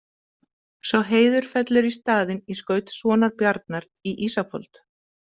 Sá heiður fellur í staðinn í skaut sonar Bjarnar í Ísafold.